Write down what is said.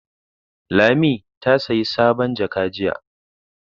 Lami ta saya sabon jaka jiya.